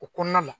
O kɔnɔna la